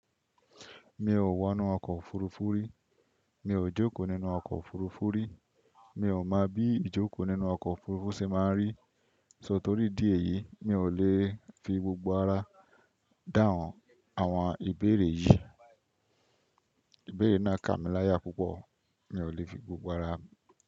Mi ò wọ inú ọkọ̀ òfurufú rí, mi ò jókòó nínú ọkọ̀ òfurufú rí, mi ò mọ bí ijoko nínú ọkọ òfurufú ṣe máa rí, só torí dí èyí, mi ò lè fi gbogbo ara dàhun áwọn ìbéèrè yìí. Ìbéèrè náà kà mí láyà púpọ̀, mi ò lè fi gbogbo ara.